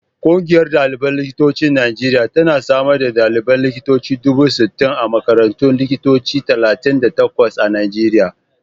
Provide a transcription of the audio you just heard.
Ƙungiyar ɗaliban likitocin Najeriya tana da sama da ɗaliban likitoci dubu sittin a makarantun likitoci talatin da takwas a Najeriya.